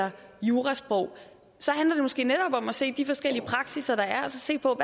jurasprog så handler det måske netop om at se på de forskellige praksisser der er og så se på